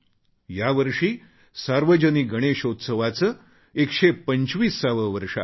यावर्षी सार्वजनिक गणेशोत्सवाचे 125वे वर्ष आहे